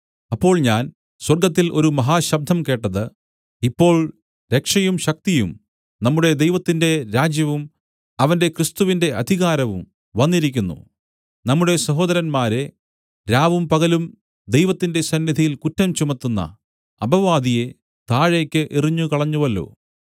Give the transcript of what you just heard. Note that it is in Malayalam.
അപ്പോൾ ഞാൻ സ്വർഗ്ഗത്തിൽ ഒരു മഹാശബ്ദം കേട്ടത് ഇപ്പോൾ രക്ഷയും ശക്തിയും നമ്മുടെ ദൈവത്തിന്റെ രാജ്യവും അവന്റെ ക്രിസ്തുവിന്റെ അധികാരവും വന്നിരിക്കുന്നു നമ്മുടെ സഹോദരന്മാരെ രാവും പകലും ദൈവത്തിന്റെ സന്നിധിയിൽ കുറ്റം ചുമത്തുന്ന അപവാദിയെ താഴേക്ക് എറിഞ്ഞുകളഞ്ഞുവല്ലോ